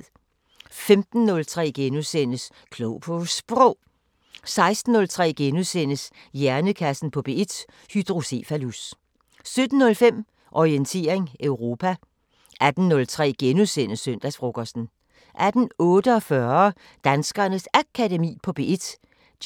15:03: Klog på Sprog * 16:03: Hjernekassen på P1: Hydrocephalus * 17:05: Orientering Europa 18:03: Søndagsfrokosten * 18:48: Danskernes Akademi på P1: